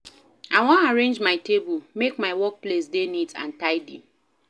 I wan arrange my table, make my workspace dey neat and tidy.